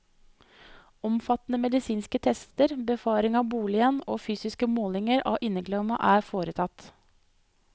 Omfattende medisinske tester, befaring av boligen og fysiske målinger av inneklima er foretatt.